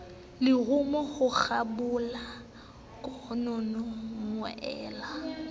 lerumo ho kgabola kanono moela